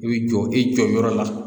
I bi jɔ i jɔyɔrɔ la.